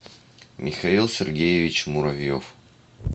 михаил сергеевич муравьев